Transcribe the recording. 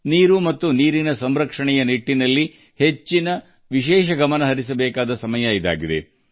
ಜಲ ಮತ್ತು ಜಲ ಸಂರಕ್ಷಣೆಯ ನಿಟ್ಟಿನಲ್ಲಿ ವಿಶೇಷ ಪ್ರಯತ್ನಗಳನ್ನು ಮಾಡುವ ಸಮಯವೂ ಇದಾಗಿದೆ